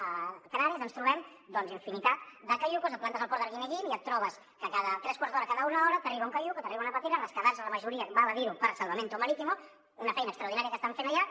a canàries ens trobem doncs infinitat de caiucs et plantes al port d’arguineguín i et trobes que cada tres quarts d’hora cada una hora t’arriba un caiuc o t’arriba una pastera rescatats la majoria val a dir ho per salvamento marítimo una feina extraordinària que estan fent allà